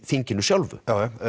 þinginu sjálfu